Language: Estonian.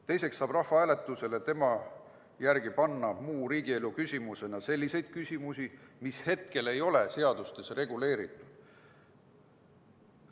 Teiseks saab rahvahääletusele Pevkuri sõnul panna muu riigielu küsimuse – sellise küsimuse, mis hetkel ei ole seadusega reguleeritud.